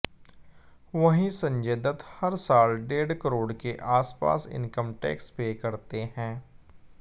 वहीं संजय दत्त हर साल डेढ़ करोड़ के आसपास इनकम टैक्स पे करते हैं